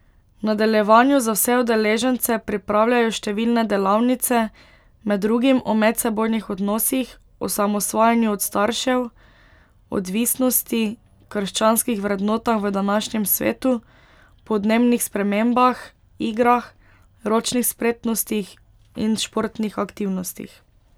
V nadaljevanju za vse udeležence pripravljajo številne delavnice, med drugim o medsebojnih odnosih, osamosvajanju od staršev, odvisnosti, krščanskih vrednotah v današnjem svetu, podnebnih spremembah, igrah, ročnih spretnostih in športnih aktivnostih.